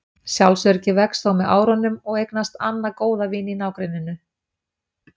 Sjálfsöryggið vex þó með árunum og eignast Anna góða vini í nágrenninu.